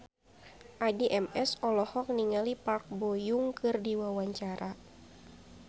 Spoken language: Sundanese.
Addie MS olohok ningali Park Bo Yung keur diwawancara